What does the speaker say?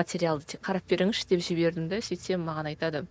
материалды тек қарап беріңізші деп жібердім де сөйтсем маған айтады